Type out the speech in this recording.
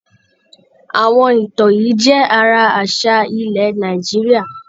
Àwọn ìtàn yìí jẹ́ ara àṣà ilẹ̀ Nàìjíríà.